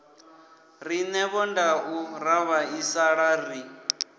rine vhondau ra vhaisala ri